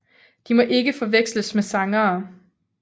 De må ikke forveksles med sangere